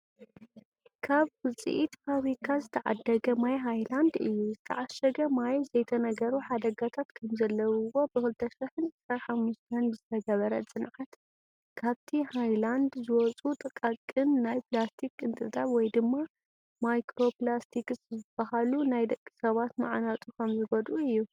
ካብ ውፅኢት ፋብሪካ ዝተዓሸገ ማይ ሃይላንድ እዩ፡፡ ዝተዓሸገ ማይ ዘይተነገሩ ሓደጋታት ከም ዘለውዎ ብ2025 ብዝተገበረ ፅንዓት ካብቲ ሃይላንድ ዝወፁ ጥቃቅን ናይቲ ኘላስቲክ ቅንጥብጣብ ወይ ድማ ማይክሮኘላስቲክስ ዝባሃሉ ንናይ ደቂ ሰባት ማዓናጡ ከምዝጎድኡ እዩ፡፡